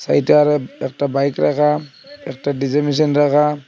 এইটার একটা বাইক রাখা একটা ডিজেল মেশিন রাখা।